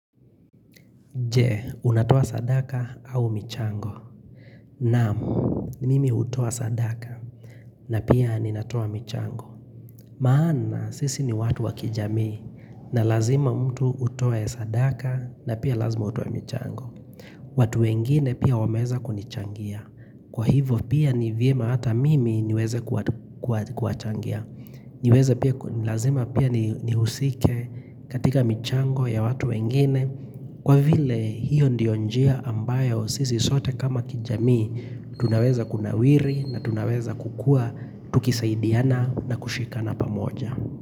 Je, unatoa sadaka au michango. Naam, mimi hutoa sadaka na pia ninatua michango. Maana, sisi ni watu wakijamii na lazima mtu utoe sadaka na pia lazima utoe michango. Watu wengine pia wameweza kunichangia. Kwa hivyo pia ni vyema hata mimi niweze kuwachangia. Niweze pia, lazima pia nihusike katika michango ya watu wengine. Kwa vile hiyo ndio njia ambayo sisi sote kama kijamii, tunaweza kunawiri na tunaweza kukua tukisaidiana na kushikana pamoja.